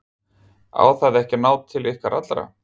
Á það ekki að ná til allra?